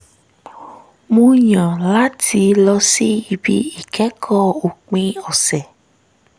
mo yàn láti lọ síbi ìkẹ́kọ̀ọ́ òpin ọ̀sẹ̀